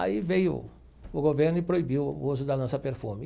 Aí veio o governo e proibiu o uso da lança-perfume.